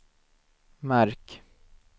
märk